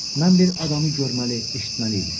Mən bir adamı görməli, eşitməli idim.